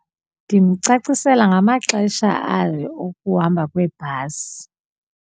Ndimcacisela ngamaxesha ayo okuhamba kwebhasi.